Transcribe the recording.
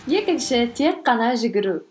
екінші тек қана жүгіру